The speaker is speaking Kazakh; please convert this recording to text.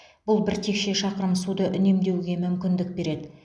бұл бір текше шақырым суды үнемдеуге мүмкіндік береді